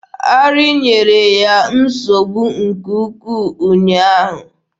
Arị nyere ya nsogbu nke ukwu ụnyaahụ.